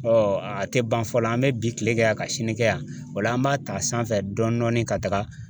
a tɛ ban fɔ la , an bɛ bi kile kɛ yan ka sini kɛ yan , o la an b'a ta sanfɛ dɔɔnin ka taga.